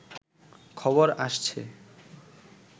খবর আসছে